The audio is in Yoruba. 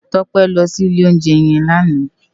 Tope lò si ilé óunjè yèn làná